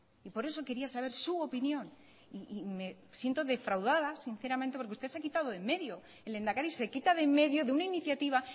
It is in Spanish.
y por eso quería saber su opinión y me siento defraudada sinceramente porque usted se ha quitado del medio el lehendakari se quita de medio de una iniciativa